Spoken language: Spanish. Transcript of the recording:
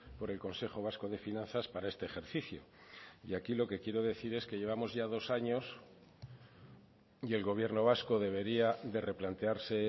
por el consejo vasco de finanzas para este ejercicio y aquí lo que quiero decir es que llevamos ya dos años y el gobierno vasco debería de replantearse